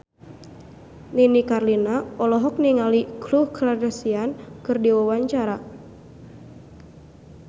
Nini Carlina olohok ningali Khloe Kardashian keur diwawancara